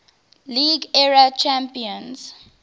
league era champions